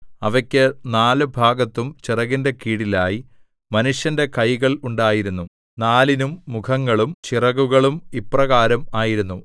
അവയ്ക്കു നാല് ഭാഗത്തും ചിറകിന്റെ കീഴിലായി മനുഷ്യന്റെ കൈകൾ ഉണ്ടായിരുന്നു നാലിനും മുഖങ്ങളും ചിറകുകളും ഇപ്രകാരം ആയിരുന്നു